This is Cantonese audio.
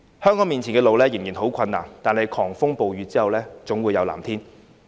香港面前的路仍然十分困難，但狂風暴雨過後，總會有藍天。